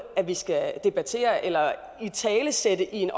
vi skal debattere eller italesætte i en